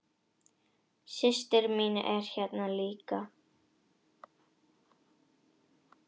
Systir mín er hérna líka.